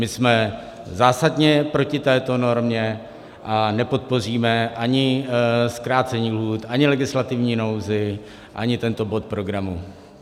My jsme zásadně proti této normě a nepodpoříme ani zkrácení lhůt, ani legislativní nouzi, ani tento bod programu.